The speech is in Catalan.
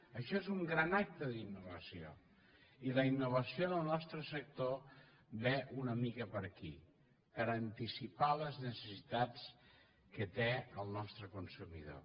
això és un gran acte d’innovació i la innovació en el nostre sector ve una mica per aquí per anticipar les necessitats que té el nostre consumidor